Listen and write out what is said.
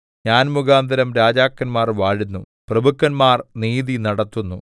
ഞാൻ മുഖാന്തരം രാജാക്കന്മാർ വാഴുന്നു പ്രഭുക്കന്മാർ നീതി നടത്തുന്നു